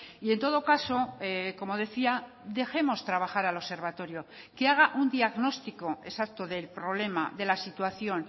y en todo caso como decía dejemos trabajar al observatorio que haga un diagnóstico exacto del problema de la situación